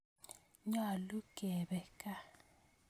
Nyalu kepe kaa